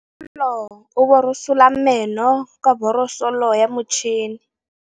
Bonolô o borosola meno ka borosolo ya motšhine.